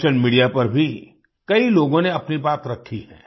social media पर भी कई लोगों ने अपनी बात रखी है